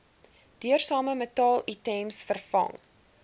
duursame metaalitems vervang